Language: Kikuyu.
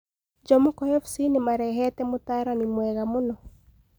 Jomoko Fc nimarehete mũtaarani mwega mũno